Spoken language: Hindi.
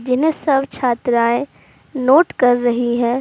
जिन्हें सब छात्राएं नोट कर रही है।